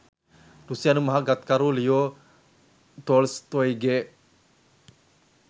රුසියානු මහා ගත්කරු ලියෝ තෝල්ස්තෝයිගේ